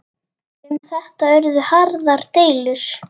Um þetta urðu harðar deilur.